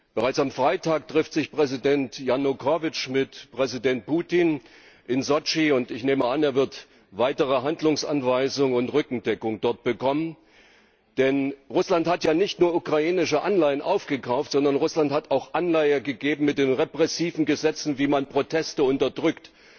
Bereits am Freitag trifft sich Präsident Janukowytsch mit Präsident Putin in Sotschi, und ich nehme an, er wird weitere Handlungsanweisungen und Rückendeckung dort bekommen, denn Russland hat ja nicht nur ukrainische Anleihen aufgekauft, sondern Russland hat auch Anleitung gegeben mit den repressiven Gesetzen, wie man Proteste unterdrückt.